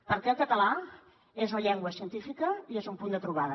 perquè el català és una llengua científica i és un punt de trobada